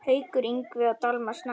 Haukur Ingvi og Dalmar Snær.